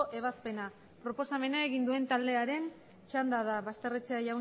ebazpena proposamena egin duen taldearen txanda da